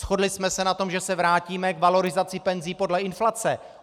Shodli jsme se na tom, že se vrátíme k valorizaci penzí podle inflace.